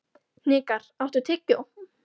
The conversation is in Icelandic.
Hnikar, áttu tyggjó?